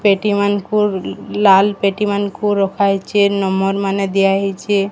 ପେଟି ମାନଙ୍କୁ ଲାଲ୍ ପେଟି ମାନଙ୍କୁ ରଖାହେଇଛି ନମ୍ବର୍ ମାନେ ଦିଆହେଇଛି।